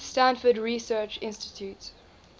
stanford research institute